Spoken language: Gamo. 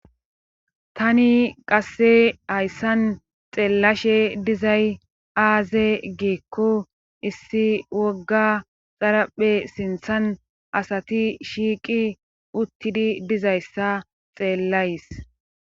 tani qasse hayssan xeellashe dizay aaze giikko issi wogga xaraphe sinthan asati shiiqi uttidi dizayssa xeellays